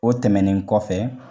O tɛmɛnen kɔfɛ